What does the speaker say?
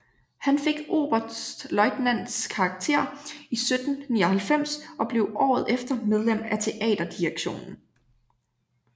Han fik oberstløjtnants karakter 1799 og blev året efter medlem af teaterdirektionen